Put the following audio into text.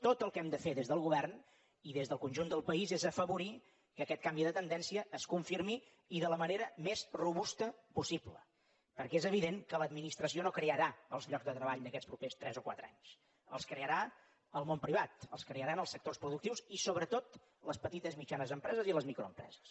tot el que hem de fer des del govern i des del conjunt del país és afavorir que aquest canvi de tendència es confirmi i de la manera més robusta possible perquè és evident que l’administració no crearà els llocs de treball d’aquests propers tres o quatre anys els crearà el món privat els crearan els sectors productius i sobretot les petites i mitjanes empreses i les microempreses